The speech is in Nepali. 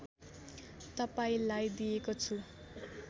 तपाईँलाई दिएको छु